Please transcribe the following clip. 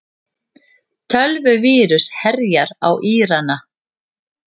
Tölvuvírus herjar á Írana